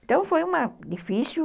Então, foi difícil.